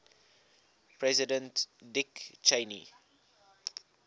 president dick cheney